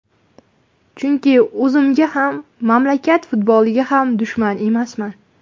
Chunki o‘zimga ham, mamlakat futboliga ham dushman emasman.